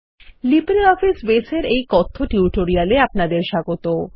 LibreOffice বাসে এর এইকথ্য টিউটোরিয়াল এ আপনাদের স্বাগত